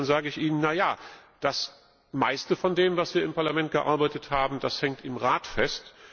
Dann sage ich ihnen Naja, das meiste von dem, was wir im Parlament ausgearbeitet haben, hängt im Rat fest.